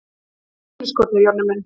Hér eru inniskórnir, Jonni minn!